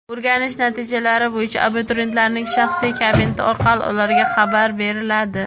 O‘rganish natijalari bo‘yicha abituriyentlarning shaxsiy kabineti orqali ularga xabar beriladi.